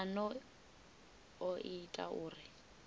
a no o ita uri